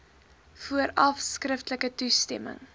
vooraf skriftelike toestemming